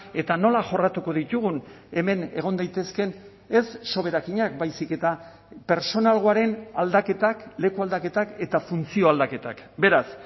eta nola jorratuko ditugun hemen egon daitezkeen ez soberakinak baizik eta pertsonalgoaren aldaketak lekualdaketak eta funtzio aldaketak beraz